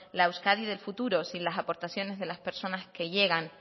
la euskadi del futuro sin las aportaciones de las personas que llegan